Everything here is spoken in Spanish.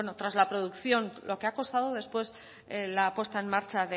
tras la producción lo que ha costado después la puesta en marcha